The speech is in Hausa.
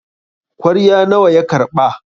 kwarya nawa ya karɓa?